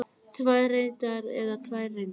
Tvær reyndar eða tvær reyndar?